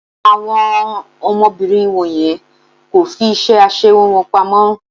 Àwọn ọmọbìnrin wọ̀nyẹn kò fi iṣẹ́ aṣẹwó wọn pamọ́.